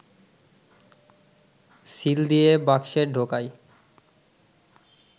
seal দিয়ে বাক্সে ঢোকায়